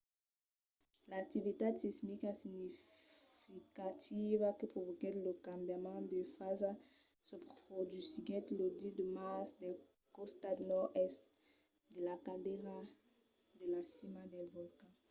l'activitat sismica significativa que provoquèt lo cambiament de fasa se produsiguèt lo 10 de març del costat nòrd-èst de la caldera de la cima del volcan